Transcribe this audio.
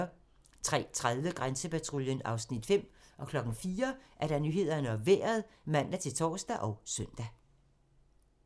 03:30: Grænsepatruljen (Afs. 5) 04:00: Nyhederne og Vejret (man-tor og søn)